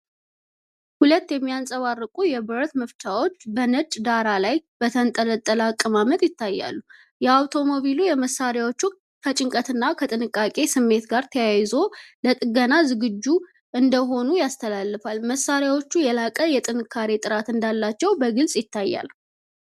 ሁለት የሚያብረቀርቁ የብረት መፍቻዎች በነጭ ዳራ ላይ በተንጣለለ አቀማመጥ ይታያሉ። የየአውቶሞቲቭ መሳሪያዎቹ ከጭንቀትና ከጥንቃቄ ስሜት ጋር ተያይዞ ለጥገና ዝግጁ እንደሆኑ ይተላለፋል። መሳሪያዎቹ የላቀ የጥንካሬ ጥራት እንዳላቸው በግልጽ ይታያል።